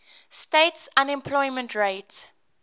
states unemployment rate